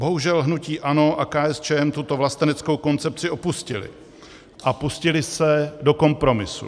Bohužel hnutí ANO a KSČM tuto vlasteneckou koncepci opustily a pustily se do kompromisu.